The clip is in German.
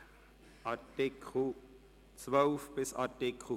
6 Vollzug, Rechtspflege und Strafbestimmungen Art. 17–19